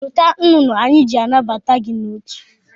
Zụta nnụnụ anyị jị anabata gị n'otu!